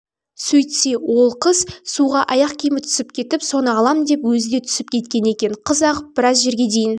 сөйтсе ол қыз суға аяқ киімі түсіп кетіп соны алам деп өзі де түсіп кеткен екен қыз ағып біраз жерге дейін